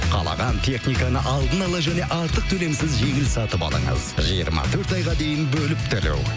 қалаған техниканы алдын ала және артық төлемсіз жеңіл сатып алыңыз жиырма төрт айға дейін бөліп төлеу